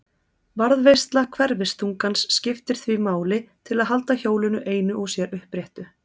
Varðveisla hverfiþungans skiptir því máli til að halda hjólinu einu og sér uppréttu.